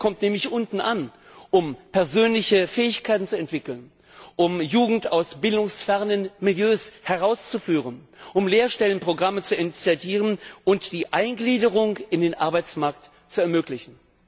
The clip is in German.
Er kommt nämlich unten an, um persönliche Fähigkeiten zu entwickeln, um Jugend aus bildungsfernen Milieus herauszuführen, um Lehrstellenprogramme zu initiieren und die Eingliederung in den Arbeitsmarkt zu ermöglichen.